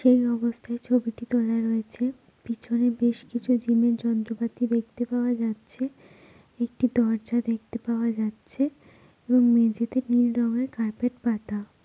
সেই অবস্থায় ছবিটি তোলা রয়েছে। পিছনে বেশ কিছু জিম এর যন্ত্রপাতি দেখতে পাওয়া যাচ্ছে। একটি দরজা দেখতে পাওয়া যাচ্ছে। এবং মেঝেতে নীল রঙের কার্পেট পাতা।